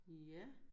Ja